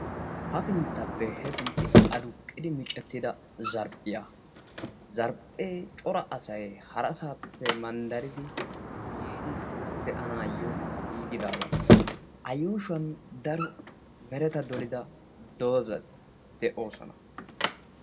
hapinttappe heppintti aduqqidi miccetida zarphiya. zarphee cora asay harasaappe manddaridi yiidi de'anaayo giigidaagaa. a yuushuwankka daro mereta dolida dozati de'oosona.